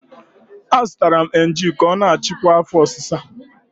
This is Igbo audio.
Azụtara m Emgyl ya ka ọ na-achịkwa afo osisa